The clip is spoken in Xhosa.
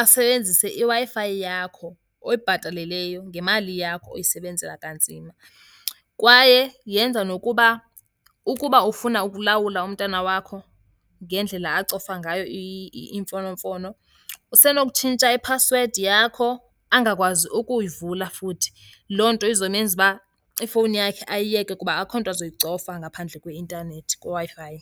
asebenzise iWi-Fi yakho oyibhataleleyo ngemali yakho oyisebenzela kanzima. Kwaye yenza nokuba ukuba ufuna ukulawula umntana wakho ngendlela acofa ngayo imfonomfono, usenokutshintsha iphasiwedi yakho angakwazi ukuyivula futhi. Loo nto izomenza uba ifowuni yakhe ayiyeke kuba akukho nto azoyicofa ngaphandle kweintanethi, kweWi-Fi.